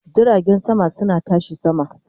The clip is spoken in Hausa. Jiragen sama suna tashi sama